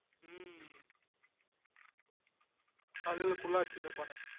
உம் தலைல குள்ளா வச்சுன்றுப்பானே